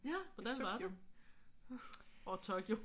Ja! Hvordan var det? Åh Tokyo